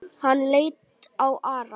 Hann leit á Ara.